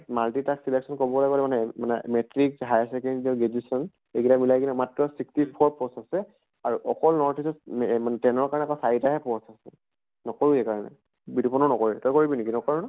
multitask selection কৰিবলৈ গলে মানে মানে metric, higher secondary আৰু graduation এই গিতাক মিলাই কেনে মাত্ৰ sixty four post আছে । আৰু অকল north east ত এহ মানে ten ৰ কাৰণে চাৰিটা হে post আছে। নকৰো সেই কাৰণে। বিতোপনো নকৰ, তই কৰিবি নেকি নকৰʼ ন?